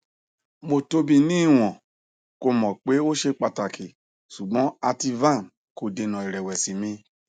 mo tobi ni iwọn ko mọ pe o ṣe pataki ṣugbọn ativan ko dena irewesi mi